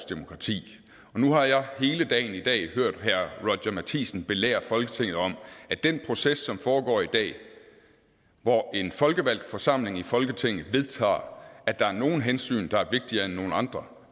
demokrati og nu har jeg hele dagen i dag hørt herre roger courage matthisen belære folketinget om at den proces som foregår i dag hvor en folkevalgt forsamling i folketinget vedtager at der er nogle hensyn der er vigtigere end nogle andre